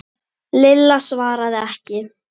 Lilla svaraði ekki.